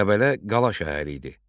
Qəbələ qala şəhəri idi.